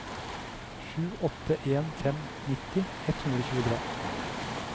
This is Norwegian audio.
sju åtte en fem nitti ett hundre og tjuetre